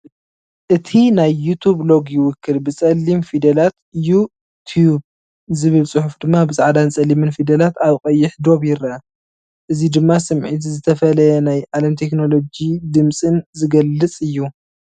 እቲ ናይ ዩቱብ ሎጎ ይውክል። ብጸሊም ፊደላት፡ "ዩ ቲብ" ዝብል ፅሑፍ ድማ ብጻዕዳን ፀሊምን ፊደላት ኣብ ቀይሕ ዶብ ይረአ። እዚ ድማ ስምዒት ዝተፈለየ ናይ ዓለም ቴክኖሎጂን ድምጽን ዝገልጽ እዩ።